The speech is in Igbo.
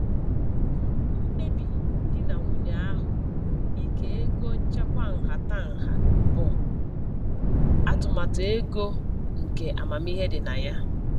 Mkpebi di na nwunye ahụ ike ego nchekwa nhatanha bụ atụmatụ ego nke amamihe dị na ya.